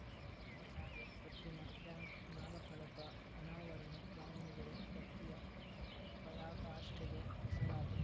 ಪದ್ಮಸಾಲಿ ಪತ್ತಿನ ಬ್ಯಾಂಕ್‌ ನಾಮಫಲಕ ಅನಾವರಣ ದಾವಣಗೆರೆ ಭಕ್ತಿಯ ಪರಾಕಾಷ್ಟೆಗೆ ಹೆಸರಾದ